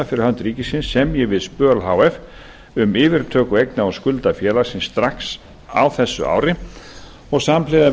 fyrir hönd ríkisins semji við spöl h f um yfirtöku eigna og skulda félagsins strax á þessu ári og samhliða